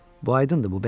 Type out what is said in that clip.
Bu aydındır,